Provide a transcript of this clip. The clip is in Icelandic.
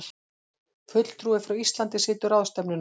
Fulltrúi frá Íslandi situr ráðstefnuna